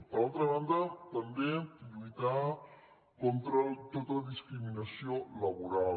per altra banda també lluitar contra tota discriminació laboral